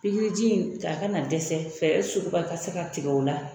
Piriji in a ka na dɛsɛ fɛɛrɛ sugu bɛɛ ka se ka tigɛ o la